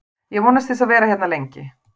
Ég vonast til að vera hérna lengi.